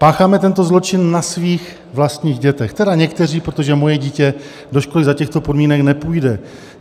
Pácháme tento zločin na svých vlastních dětech - tedy někteří, protože moje dítě do školy za těchto podmínek nepůjde.